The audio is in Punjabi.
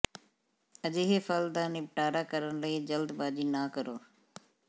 ਅਜਿਹੇ ਫਲ ਦਾ ਨਿਪਟਾਰਾ ਕਰਨ ਲਈ ਜਲਦਬਾਜ਼ੀ ਨਾ ਕਰੋ